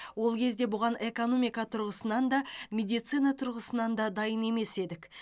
ол кезде бұған экономика тұрғысынан да медицина тұрғысынан дайын емес едік